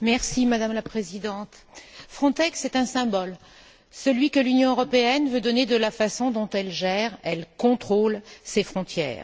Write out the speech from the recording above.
Madame la Présidente, Frontex est un symbole celui que l'Union européenne veut donner de la façon dont elle gère et elle contrôle ses frontières.